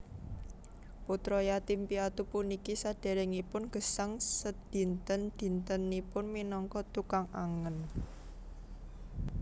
Putra yatim piatu puniki sadèrèngipun gesang sedinten dintenipun minangka tukang angèn